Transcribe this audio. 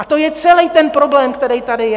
A to je celý ten problém, který tady je.